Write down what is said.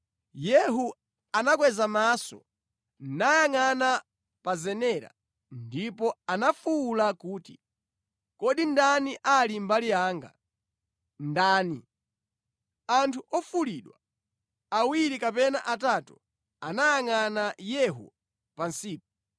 Yehu anakweza maso nayangʼana pa zenera, ndipo anafuwula kuti, “Kodi ndani ali mbali yanga? Ndani?” Anthu ofulidwa awiri kapena atatu anayangʼana Yehu pansipo.